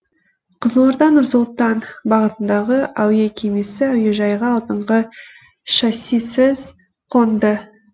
қызылорда нұр сұлтан бағытындағы әуе кемесі әуежайға алдыңғы шассисіз қонды